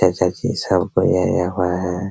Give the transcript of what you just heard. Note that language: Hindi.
ऐसा चीज सब हआ है।